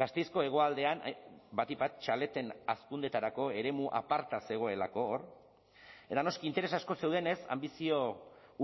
gasteizko hegoaldean batik bat txaleten hazkundeetarako eremu aparta zegoelako hor eta noski interes asko zeudenez anbizio